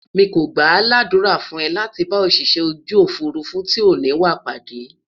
mí kò gbà l'adura fún e láti bá Òṣìṣẹ́ ojú òfurufú tí o ni wà pàdé